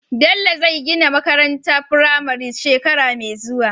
Bello zai gina makarantar firame shekara me zuwa